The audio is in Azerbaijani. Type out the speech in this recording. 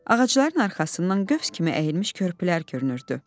Ağacların arxasından qövs kimi əyilmiş körpülər görünürdü.